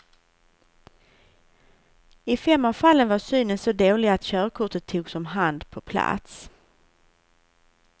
I fem av fallen var synen så dålig att körkortet togs om hand på plats.